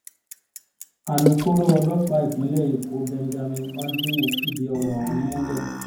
alūkkóró ọlọ́pàá ìpínlẹ̀ èkó benjamin hondnyin fìdí ọ̀rọ̀ ọ̀hún múlẹ̀